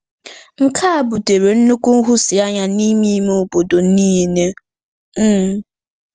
Nke a butere nnukwu nhụsianya n'ime ime obodo niile um.